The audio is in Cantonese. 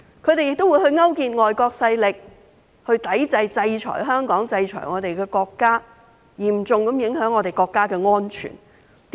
他們亦勾結外國勢力，制裁香港及我們的國家，嚴重影響國家的安全。